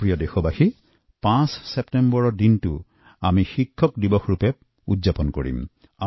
মোৰ প্ৰিয় দেশবাসী ৫ ছেপ্টেম্বৰত আমি সকলোৱে শিক্ষক দিবস পালন কৰিলোঁ